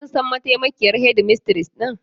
Kun san mataimakiyar shedimistres din?